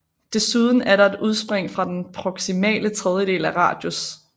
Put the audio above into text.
Desuden er der et udspring fra den proximale tredjedel af radius